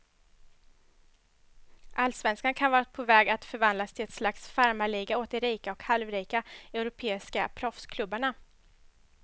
Allsvenskan kan vara på väg att förvandlas till ett slags farmarliga åt de rika och halvrika europeiska proffsklubbarna.